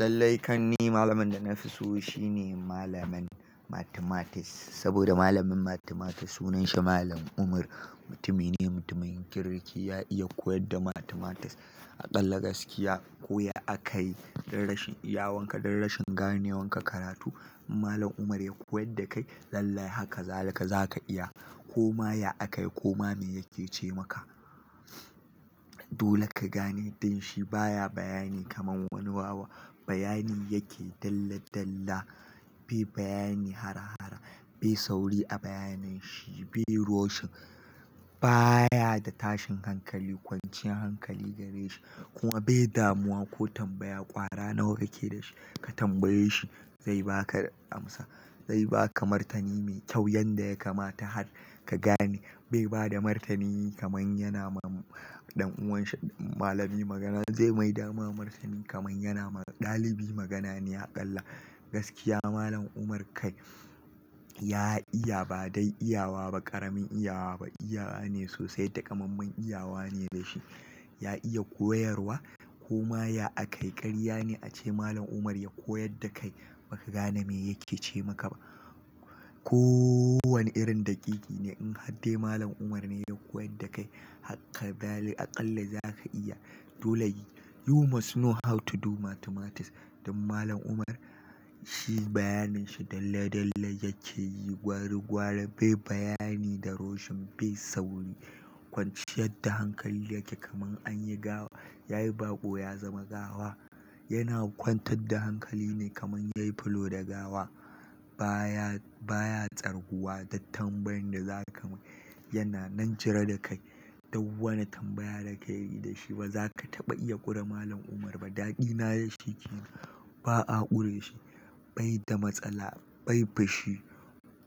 Lallai kam ni malamin da nafi so shine malamin mathematics. Saboda malamin Mathematics sunan shi Malam Umar, mutumine mutumin kirki. Ya iya koyar da Mathematics a ƙalla gaskiya. Koya aka yi duk rashin iyawakan ka duk rashin ganewan ka karatu. In Malam umar ya koyar dakai lallai haka zalika zaka iya. Ko ma ya aka yi ko ma me yake ce maka. Dole ka gane danshi baya bayani kaman wani wawa. Bayani yake dalla dalla, be bayani harhar, bai sauri a bayanin shi, be rushing, baya da tashin hankali, kwanciyar hankali gare shi. Kuma bai damuwa ko tambaya ƙwara nawa kake da shi. Ka tambaye shi zai baka amsa. Zai baka martani mai kyau yanda ya kamata har ka gane. Bai bada martani kaman yana ma ɗan uwan shi malami magana, zai mai dama martani kaman yana ma ɗalibi magana ne a ƙalla. Gaskiya Malam Umar kai ya iya ba dai iyawa ba, ƙaramin iyawa ba. Iyawa ne sosai, takamaman iyawa ne da shi. Ya iya koyarwa koma ya a kai ƙarya ne ace Malam Umar ya koyar da kai ba ka gane me yake ce maka ba. Ko wani irin daƙiƙi ne in hadde Malam Umar ne ya koyar da kai hakka dali aƙalla za ka iya. Dole you must know to do mathematics. Dan Malam Umar shi bayanin shi dalla dalla yake yi gwari gwari. Bai bayani da rushing, bai sauri. Kwanciyar da hankali yake kaman anyi gawa, yayi baƙo ya zama gawa. Yana kwantar da hankali ne kaman yayi fulo da gawa. Ba ya, ba ya tsarguwa da tambayan da za ka mai. Yana nan cire da kai. Dou wani tambaya da ka yi da shi ba za ka taɓa iya ƙure Malam Umar ba. Ɗaɗina da shi kenan. Ba a ƙure shi. Bai da matsala, bai fushi.